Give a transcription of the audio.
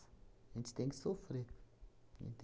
A gente tem que sofrer. A gente